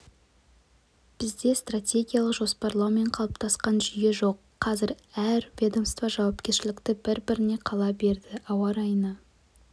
бізде стратегиялық жоспарлау мен қалыптасқан жүйе жоқ қазір әр ведомство жауапкершілікті бір-біріне қала берді ауа райына